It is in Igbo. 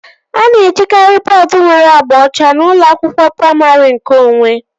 A na-ejikari bọọdu nwere agba ọcha n'ụlọ akwụkwọ praimarị nkeonwe